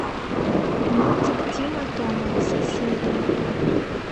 мультик тима тома все серии